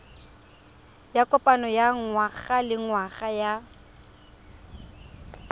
ya kopano ya ngwagalengwaga ya